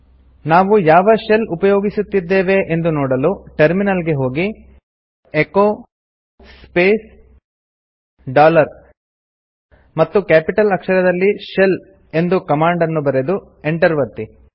ನಾವು ಯಾವ ಶೆಲ್ ಉಪಯೋಗಿಸುತ್ತಿದ್ದೇವೆ ಎಂದು ನೋಡಲು ಟರ್ಮಿನಲ್ ಗೆ ಹೋಗಿ ಎಚೊ ಸ್ಪೇಸ್ ಡಾಲರ್ ಮತ್ತು ಕ್ಯಾಪಿಟಲ್ ಅಕ್ಷರದಲ್ಲಿ ಶೆಲ್ ಎಂದು ಕಮಾಂಡ್ ನ್ನು ಬರೆದು ಎಂಟರ್ ಒತ್ತಿ